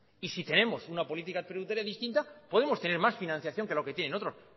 y si tenemos una política tributaria distinta podemos tener más financiación que lo que tienen otros